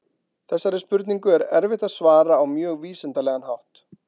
Þessari spurningu er erfitt að svara á mjög vísindalegan hátt.